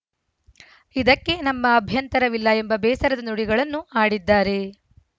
ಇದಕ್ಕೆ ನಮ್ಮ ಅಭ್ಯಂತರವಿಲ್ಲ ಎಂಬ ಬೇಸರದ ನುಡಿಗಳನ್ನು ಆಡಿದ್ದಾರೆ